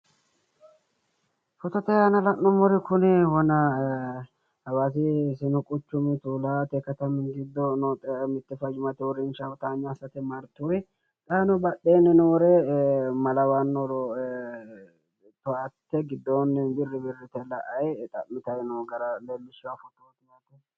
Footote aana la'nummori kuri hawaassi quchumi sini borro mini giddo tuulate noo fayyimmate uurrinshaati xaano badheenni noore ma lawannore mayi nooro xa'mitanni leellishshanno